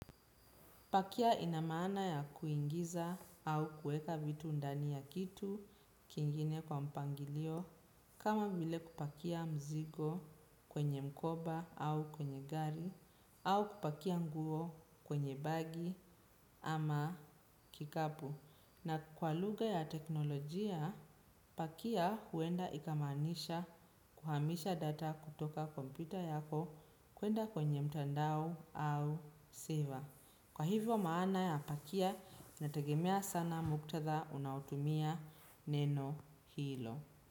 Pakia ina maana ya kuingiza au kueka vitu ndani ya kitu kingine kwa mpangilio kama vile kupakia mzigo kwenye mkoba au kwenye gari au kupakia nguo kwenye bagi ama kikapu. Na kwa lugha ya teknolojia, pakia huenda ikamanisha kuhamisha data kutoka kompyuta yako kwenda kwenye mtandao au seva. Maana ya pakia integemea sana muktatha unaotumia neno hilo.